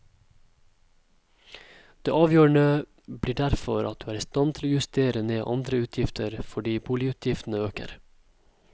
Det avgjørende blir derfor at du er i stand til å justere ned andre utgifter fordi boligutgiftene øker.